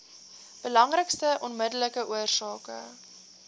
belangrikste onmiddellike oorsake